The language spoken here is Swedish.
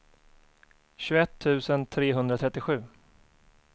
tjugoett tusen trehundratrettiosju